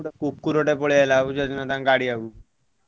ଗୋଟେ କୁକୁର ଟେ ପଳେଇଆସିଲା ବୁଝିପାରୁଛ ନା ତାଙ୍କ ଗାଡି ଆଗକୁ।